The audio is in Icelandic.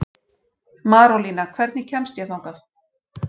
Marólína, hvernig kemst ég þangað?